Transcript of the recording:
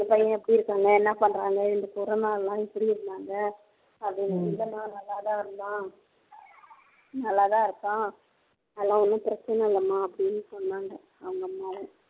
உங்க பையன் எப்படி இருக்காங்க என்ன பண்றாங்க இந்த corona ல எல்லாம் எப்படி இருந்தாங்க அப்படின்னு இல்லம்மா நல்லாதான் இருந்தான் நல்லாத்தான் இருப்பான் அதெல்லாம் ஒன்னும் பிரச்சினை இல்லம்மா அப்படின்னு சொன்னாங்க அவங்க அம்மா